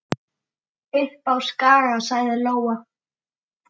Upp á Skaga, sagði Lóa.